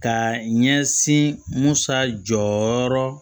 Ka ɲɛsin musa jɔyɔrɔ